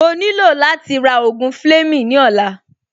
Mo nílò láti ra ògùn Fleming ní ọ̀la